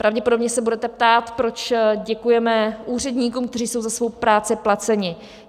Pravděpodobně se budete ptát, proč děkujeme úředníkům, kteří jsou za svou práci placeni.